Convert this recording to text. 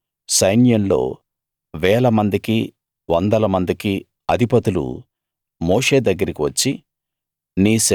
అప్పుడు సైన్యంలో వేలమందికి వందల మందికి అధిపతులు మోషే దగ్గరికి వచ్చి